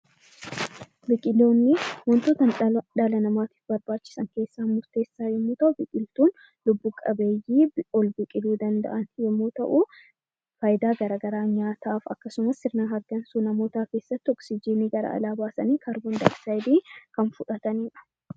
Biqiloonni wantoota dhala namaatiif barbaachisan keessaa murteessoo yommuu ta'u, biqiltoonni lubbu-qabeeyyii ol biqiluu danda'an yommuu ta'u, fayidaa garaagaraa nyaataaf akkasumas sirna hargansuu namootaa keessatti oksijiinii gara alaa baasanii kaarboondaayoksaayidii kan fudhatamanidha